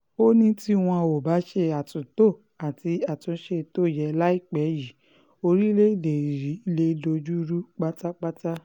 ó ní tí wọn ò bá ṣe àtúntò àti àtúnṣe tó yẹ láìpẹ́ yìí orílẹ̀-èdè yìí um lè dojú rú pátápátá um